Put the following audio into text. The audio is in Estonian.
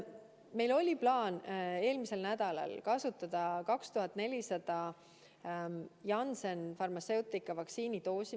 Meil oli plaan eelmisel nädalal kasutada 2400 Janssen Pharmaceutica vaktsiini doosi.